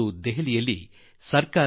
ಇಂದು ದೆಹಲಿಯಲ್ಲಿ ಭಾರತ ಸರ್ಕಾರ